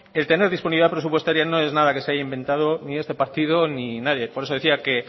el tener disponibilidad presupuestaria no es nada que se haya inventado ni este partido ni nadie por eso decía que